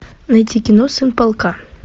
найти кино сын полка